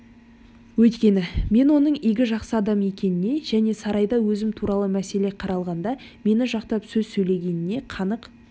өйткені мен оның игі жақсы адам екеніне және сарайда өзім туралы мәселе қаралғанда мені жақтап сөз сөйлегеніне қанық